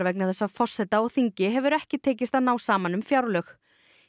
vegna þess að forseta og þingi hefur ekki tekist að ná saman um fjárlög